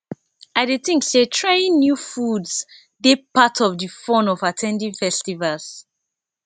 i dey think say trying new foods dey part of di fun of at ten ding festivals